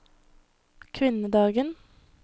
kvinnedagen